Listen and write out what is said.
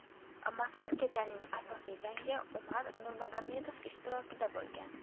Mazkur kechaning asosiy jangi Umar Nurmagomedov ishtirokida bo‘lgan.